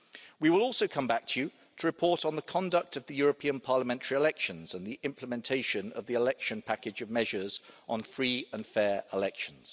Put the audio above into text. We will also come back to you to report on the conduct of the European Parliament elections and the implementation of the election package of measures on free and fair elections.